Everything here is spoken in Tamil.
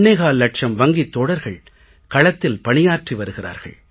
25 லட்சம் வங்கித் தோழர்கள் களத்தில் பணியாற்றி வருகிறார்கள்